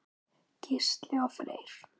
Gísli og Freyr.